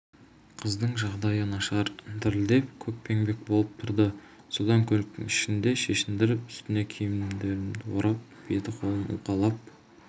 қыздың жағдайы нашар дірілдеп көкпеңбек болып тұрды содан көліктің ішінде шешіндіріп үстіне киімдерімді орап беті-қолын уқалап